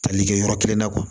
Tali kɛ yɔrɔ kelen na